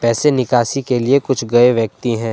ऐसे निकासी के लिए कुछ गए व्यक्ति हैं।